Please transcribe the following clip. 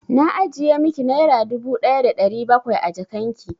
Na ajiye miki naira dubu ɗaya da ɗari bakwai a jakan ki.